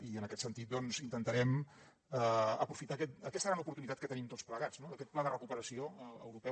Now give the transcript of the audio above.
i en aquest sentit doncs intentarem aprofitar aquesta gran oportunitat que tenim tots plegats no aquest pla de recuperació europeu